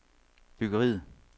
byggeriet